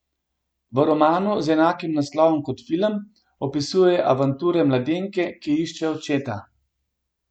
V romanu z enakim naslovom kot film opisuje avanture mladenke, ki išče očeta.